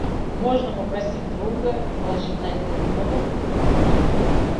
можно попросить друга положить на этот номер деньги